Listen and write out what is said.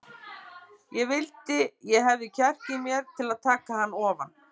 Ég vildi ég hefði kjark í mér til að taka hann ofan.